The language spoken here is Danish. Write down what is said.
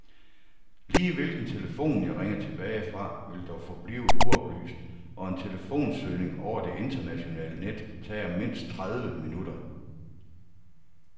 Lige hvilken telefon, jeg ringer tilbage fra, vil dog forblive uoplyst, og en telefonsøgning over det internationale net tager mindst tredive minutter.